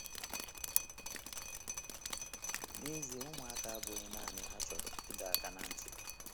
N’ezie, ụmụaka abụghị naanị ha chọrọ ịdọ aka ná ntị.